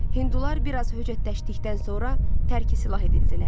Hindular bir az höcətləşdikdən sonra tərki silah edildilər.